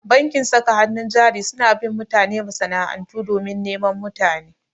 Bankin saka hannun jari suna bin mutane masana'antu domin neman mutane.